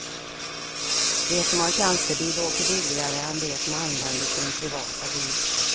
De som har tjänstebil åker billigare än de som använder sin privata bil.